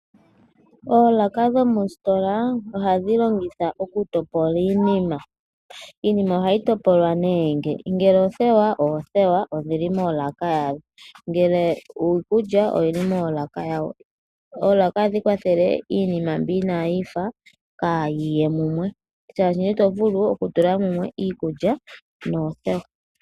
Oolaka dhoositola ohadhi longithwa okutopola iinima. Iinima ohayi topolwa nge: ngele oothewa ohadhi kala moolaka dha dho , iikulya ohayi tulwa moolaka dhawo . Oolaka ohadhi kwathele iinima mbi inaayi fa kaayi ye mumwe shaashi iikulya itayi vulu yi ye mumwe noothewa.